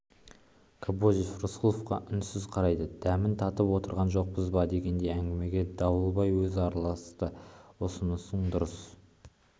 кобозев рысқұловқа үнсіз қарайды дәмін татып отырған жоқпыз ба дегендей әңгімеге дауылбай өзі араласты ұсынысың дұрыс